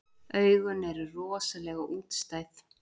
Augun eru rosalega útstæð.